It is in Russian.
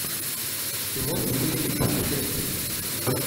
ты можешь включить путешествие